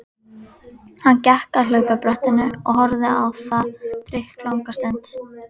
Hann gekk að hlaupabrettinu og horfði á það drykklanga stund.